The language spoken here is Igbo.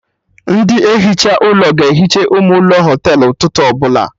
Ndị ehicha ụlọ ga ehicha ime ụlọ Họtelụ ụtụtụ ọbụla